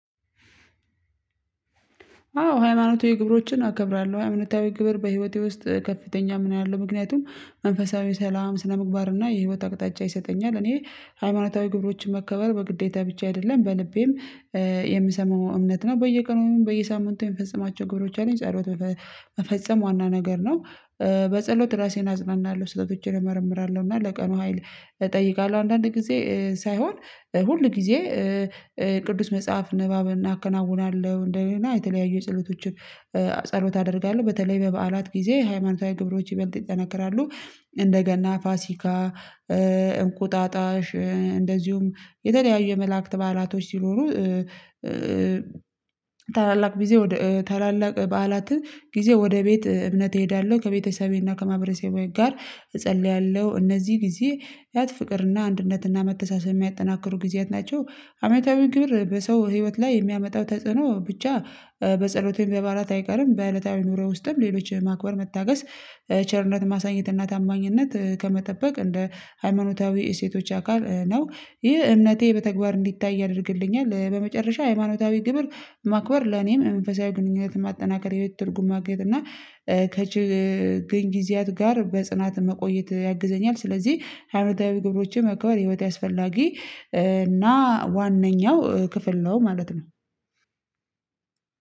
አዎ ሃይማኖታዊ ግብሮችን አከብራለሁ። ሃይማኖታዊ ግብር በህይወቴ ውስጥ ከፍተኛ ሚና አለው ምክንያቱም መንፈሳዊ ሰላም፣ ስነምግባርና የህይወት አቅጣጫ ይሰጠኛል። እኔ ሃይማኖታዊ ግብሮችን መከበር በግዴታ ብቻ አይደለም በልቤም የምሰማው እምነት ነው በየቀኑ በየሳምንቱ የምፈጸማቸው ግብሮች አሉኝ። ጸሎት በፈ መፈጸም ዋና ነገር ነው። በጸሎት ራሴን አጽናናለሁ፣ ስህተቶቼን እመርምራለሁ እና ለቀኑ ሀይል እጠይቃለሁ። አንዳንድ ጊዜ ሳይሆን ሁል ጊዜ ቅዱስ መጽሐፍ ንባብን አከናውናለሁ። እንደውም የተለያዩ የጸሎቶችን ጸሎት አደርጋለሁ በተለይ በበዓላት ጊዜ ሃይማኖታዊ ግብሮች ይበልጥ ይጠነክራሉ። እንደ ገና፣ ፋሲካ፣ እንቁጣጣሽ እንደዚሁም የተለያዩ የመላእክት በዓላቶች ሲኖሩ ታላላቅ ጊዜ ወደ ታላላቅ በዓላት ጊዜ ወደ ቤት እምነት እሄዳለሁ፣ ከቤተሰቤና ከማህበረሰቤ ጋር እጸልያለሁ እነዚህ ጊዜ ያት ፍቅርና አንድነትና መተሳሰብ የሚያጠናክሩ ጊዜያት ናቸው። አመታዊ ግብር በሰው ህይወት ላይ የሚያመጣው ተጽዕኖ ብቻ በጸሎቱም በባላት አይቀርም በእለታዊ ኑሮ ውስጥም ሌሎች ማክበር፣ መታገስ፣ ቸርነት ማሳየት እና ታማኝነት ከመጠበቅ እንደ ሃይማኖታዊ እሴቶች አካል ነው፤ ይህ እምነቴ በተግባር እንዲታይ ያደርግልኛል በመጨረሻ ሃይማኖታዊ ግብር ማክበር ለኔም መንፈሳዊ ግንኙነት ማጠናከር፣ የህይወት ትርጉም ማግኘት እና ከችግር ጊዜያት ጋር በጽናት መቆየት ያግዘኛል፤ ስለዚህ ሃይማኖታዊ ግብሮችን ማክበር የህይወቴ አስፈላጊ እና ዋነኛው ክፍል ነው ማለት ነው።